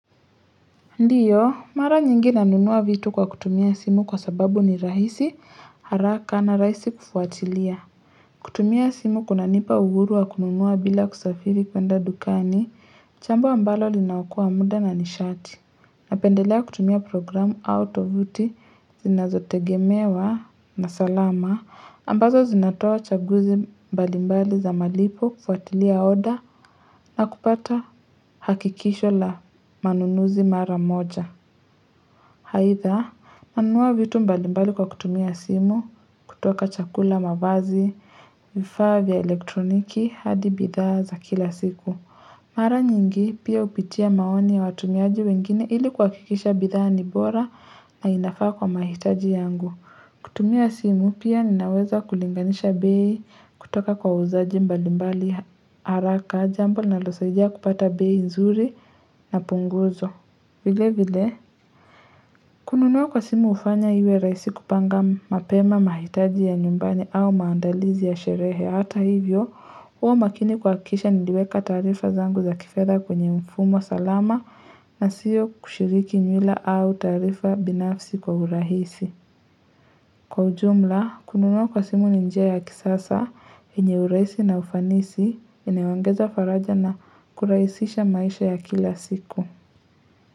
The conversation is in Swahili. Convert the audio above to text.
Ndio, mara nyingi nanunua vitu kwa kutumia simu kwa sababu ni rahisi, haraka na rahisi kufuatilia. Kutumia simu kunanipa uhuru wa kununua bila kusafiri kwenda dukani, jambo ambalo linaokoa muda na nishati. Napendelea kutumia programu au tovuti zinazotegemewa na salama ambazo zinatoa chaguzi mbalimbali za malipo, kufuatilia order na kupata hakikisho la manunuzi mara moja. Aidha, nanunua vitu mbalimbali kwa kutumia simu, kutoka chakula, mavazi, vifaa vya elektroniki, hadi bidhaa za kila siku. Mara nyingi pia hupitia maoni ya watumiaji wengine ili kuhakikisha bidhaa ni bora na inafaa kwa mahitaji yangu. Kutumia simu pia ninaweza kulinganisha bei kutoka kwa wauzaji mbalimbali haraka, jambo linalosaidia kupata bei nzuri na punguzo, vile vile. Kununua kwa simu hufanya iwe rahisi kupanga mapema mahitaji ya nyumbani au maandalizi ya sherehe. Hata hivyo, huwa makini kuhakikisha niliweka taarifa zangu za kifedha kwenye mfumo salama na sio kushiriki nywila au taarifa binafsi kwa urahisi. Kwa ujumla, kununua kwa simu ni njia ya kisasa yenye urahisi na ufanisi, inayoongeza faraja na kurahisisha maisha ya kila siku.